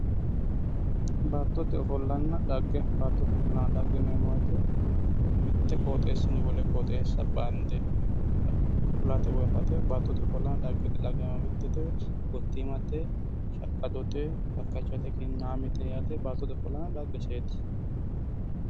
Baattote ofollanna dhagge, baattote ofollanna dhagge yinneemmo woyte mitu qoxxeesinni wole qoxxeessa bande ku'late woyi afate baattote ofollanna dhaggete, lagamitete gottimate ,shaqqadote kakkachate ki'namete baattote ofollanna dhaggeseti